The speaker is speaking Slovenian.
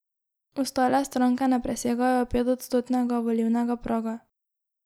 Ostale stranke ne presegajo petodstotnega volilnega praga.